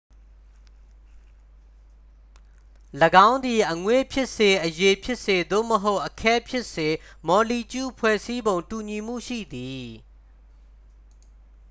၎င်းသည် အငွေ့ဖြစ်စေ အရည်ဖြစ်စေ သို့မဟုတ် အခဲဖြစ်စေ မော်လီကျူးဖွဲ့စည်းပုံ တူညီမှုရှိသည်